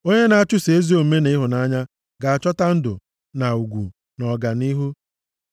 Onye na-achụso ezi omume na ịhụnanya ga-achọta ndụ, na ugwu na ọganihu.